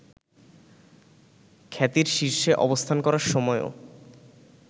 খ্যাতির শীর্ষে অবস্থান করার সময়ও